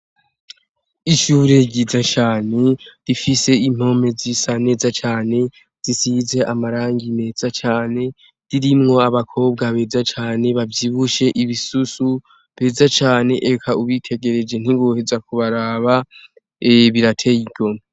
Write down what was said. Ishure ryiza cane rifise impome zisa neza cane, zisize amarangi meza cane, ririmwo abakobwa beza cane ,bavyibushe ibisusu beza cane ,eka ubitegereje ntiwoheza kubaraba, birateye igomwe.